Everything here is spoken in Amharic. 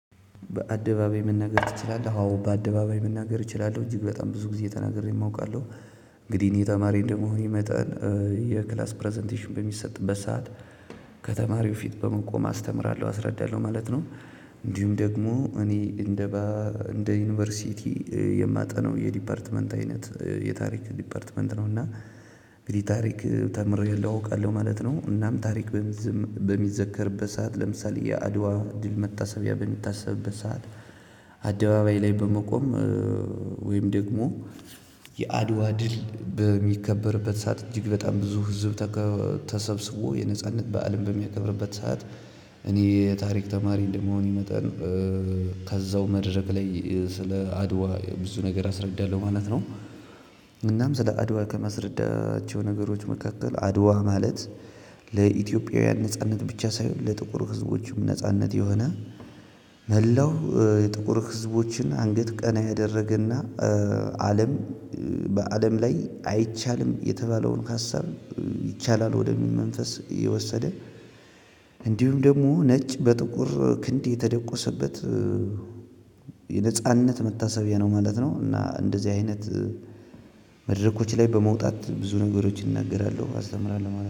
በአደባባይ መናገር ትችላለህ አዎ በአደባባይ መናገር እችላለሁ እጅግ በጣም ብዙ ጊዜ ተናግሬም አውቃለሁ። እንግዲህ እኔ ተማሪ እንደመሆኔ መጠን የክላስ ፕረዘንቴሽን በሚሰጥበት ሰዓት ከተማሪው ፊት በመቆም አስተምራለሁ አስረዳለሁ ማለት ነው። እንዲሁም ደግሞ እኔ እንደ እንደ ዩኒቨርሲቲ የማጠናው የዲፓርትመንት አይነት የታሪክ ዲፓርትመንት ነው። እና ታሪክ ተምሬአለሁ አውቃለሁ ማለት ነው። እናም ታሪክ በሚዘከርበት ሰዓት ለምሳሌ የአድዋ ድል መታሰቢያ በሚታሰብበት ሰዓት አደባባይ ላይ በመቆም። ወይም ደግሞ የአድዋ ድል በሚከበርበት ሰዓት እጅግ በጣም ብዙ ህዝብ ተሰብስቦ የነጻነት በዓልም በሚከብርበት ሰዓት እኔ የታሪክ ተማሪ እንደመሆን መጠን ከዛው መድረክ ላይ ስለ አድዋ ብዙ ነገር አስረዳለሁ ማለት ነው። እናም ስለ አድዋ ከማስረዳቸው ነገሮች መካከል አድዋ ማለት ለኢትዮጵያውያን ነጻነት ብቻ ሳይሆን ለጥቁር ህዝቦች ነጻነት የሆነ መላው የጥቁር ህዝቦችን አንገት ቀና ያደረገና አለም በአለም ላይ አይቻልም የተባለውን ሀሳብ ይቻላል ወደሚል መንፈስ የወሰደ። እንዲሁም ደግሞ ነጭ በጥቁር ክንዴ የተደቆሰበት የነጻነት መታሰቢያ ነው ማለት ነው። እና እንደዚህ አይነት መድረኮች ላይ በመውጣት ብዙ ነገሮችን እናገራለሁ አስተምራለሁ ማለት ነው።